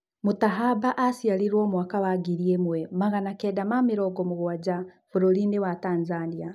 Mũtahaba aciarirwo mwaka wa ngiri ĩmwe magana Kenda ma mĩrongo mũgwanja bũrũrinĩ wa Tanzania.